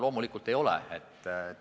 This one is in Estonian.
Loomulikult ei ole.